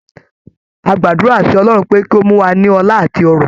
A gbàdúrà sí Ọlọ́run pé kí ó mú wa ní ọlá àti ọrọ̀.